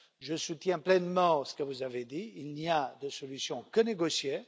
Je soutiens pleinement ce que vous avez dit il n'y a de solutions que négociées.